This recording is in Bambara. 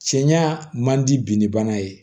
Cɛɲa man di bin bana ye